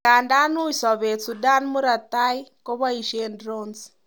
Idadan uy sober, Sudan Murat tai koboishen 'drones'.